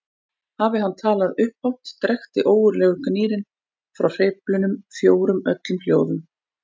Hafi hann talað upphátt drekkti ógurlegur gnýrinn frá hreyflunum fjórum öllum hljóðum.